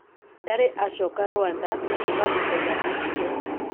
Ndari acoka Rwanda kuuma muthenya ocio